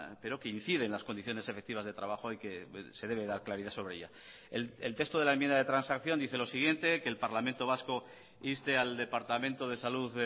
pero que incide en las condiciones efectivas de trabajo y que se debe dar claridad sobre ella el texto de la enmienda de transacción dice los siguiente que el parlamento vasco inste al departamento de salud